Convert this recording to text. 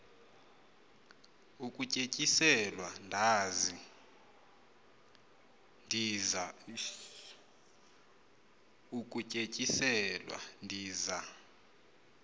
ukutye tyiselwa ndiza